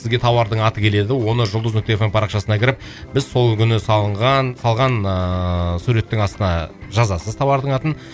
сізге тауардың аты келеді оны жұлдыз нүкте эф эм парақшасына кіріп біз сол күні салынған салған ыыы суреттің астына жазасыз тауардың атын